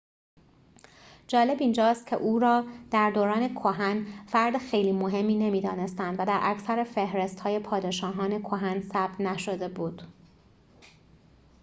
جالب اینجاست که او را در دوران کهن فرد خیلی مهمی نمی‌دانستند و در اکثر فهرست‌های پادشاهان کهن ثبت نشده بود